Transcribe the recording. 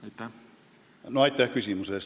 Aitäh küsimuse eest!